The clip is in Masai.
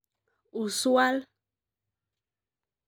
Usual.